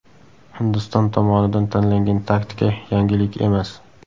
Hindiston tomonidan tanlangan taktika yangilik emas.